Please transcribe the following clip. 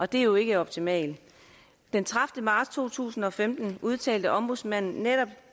det er jo ikke optimalt den tredivete marts to tusind og femten udtalte ombudsmanden netop